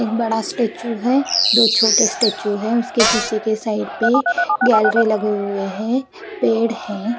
एक बड़ा स्टैचू है दो छोटे स्टैचू है उसके पीछे के साइड पे गैलरी लगे हुए हैं पेड़ है।